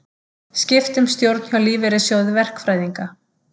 Skipt um stjórn hjá Lífeyrissjóði verkfræðinga